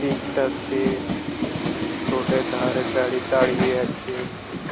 Pick -টাতে road এর ধারে গাড়ি দাঁড়িয়ে আছে।